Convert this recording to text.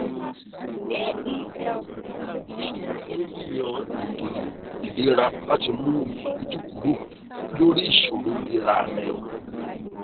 o ṣeun fún yíyan ètò ìlera láti mú iyèméjì kúrò lórí ìṣòro ìlera rẹ